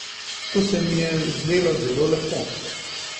To se mi je zdelo zelo lepo.